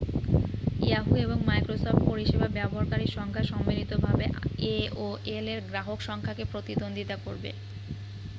yahoo! এবং Microsoft পরিসেবা ব্যবহারকারীর সংখ্যা সম্মিলিতভাবে aol-এর গ্রাহক সংখ্যাকে প্রতিদ্বন্দ্বিতা করবে।